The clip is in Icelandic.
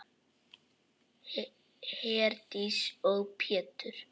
Herdís og Pétur.